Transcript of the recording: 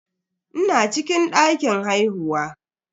Ina cikin dakin haihuwa.